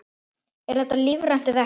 Er þetta lífrænt eða ekki?